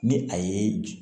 Ni a ye